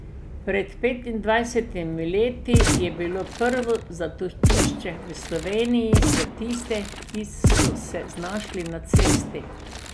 Pred petindvajsetimi leti je bilo prvo zatočišče v Sloveniji za tiste, ki so se znašli na cesti.